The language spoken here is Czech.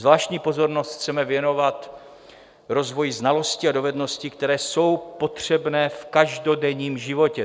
Zvláštní pozornost chceme věnovat rozvoji znalostí a dovedností, které jsou potřebné v každodenním životě.